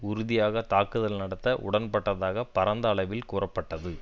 உறுதியாக தாக்குதல் நடத்த உடன்பட்டதாக பரந்த அளவில் கூறப்பட்டது